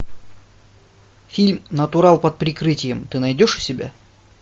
фильм натурал под прикрытием ты найдешь у себя